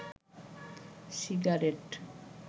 cigarette